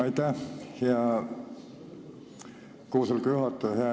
Aitäh, hea koosoleku juhataja!